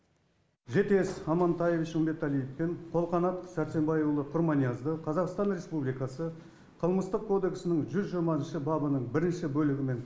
жетес амантаевич үмбеталиев пен қолқанат сәрсенбайұлы құрманиязды қазақстан республикасы қылмыстық кодексінің жүз жиырмасыншы бабының бірінші бөлігімен